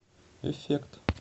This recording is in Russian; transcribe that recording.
эффект